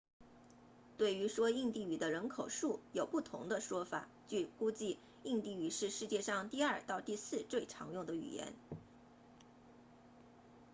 对于说印地语的人口数有不同的说法据估计印地语是世界上第二到第四最常用的语言